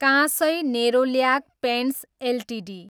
Kansai Nerolac paints Ltd